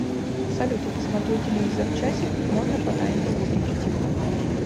салют я посмотрю телевизор часик можно по таймеру выключить его